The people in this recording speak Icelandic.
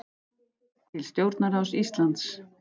Til stjórnarráðs Íslands